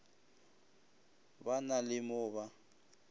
ba na le mo ba